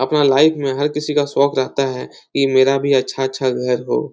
अपना लाइफ में हर किसी का शोंक रहता हैं कि मेरा भी अच्छा-अच्छा घर हो।